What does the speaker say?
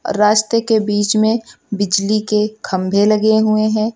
रास्ते के बीच में बिजली के खंभे लगे हुए है।